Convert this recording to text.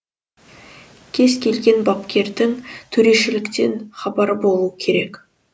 кез келген бапкердің төрешіліктен хабары болуы керек